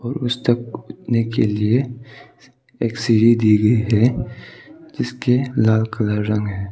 ओर उस तक उठने के लिए एक सीढ़ी दी गई है जिस के लाल कलर रंग है।